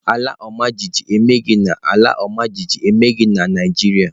Ala ọmajiji emeghị na ala ọmajiji emeghị na Naịjirịa.